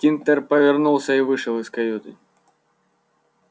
тинтер повернулся и вышел из каюты